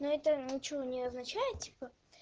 но это ничего не означает типа